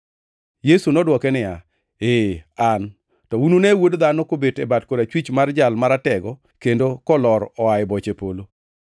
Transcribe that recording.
Yesu nodwoke niya, “Ee, An. To unune Wuod Dhano kobet e bat korachwich mar Jal Maratego kendo kolor oa e boche polo.”